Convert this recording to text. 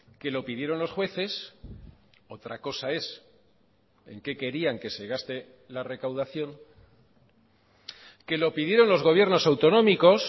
que lo pidieron los jueces otra cosa es en qué querían que se gaste la recaudación que lo pidieron los gobiernos autonómicos